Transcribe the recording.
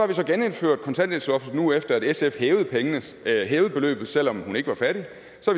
vi genindført kontanthjælpsloftet nu efter at sf hævede beløbet selv om hun ikke var fattig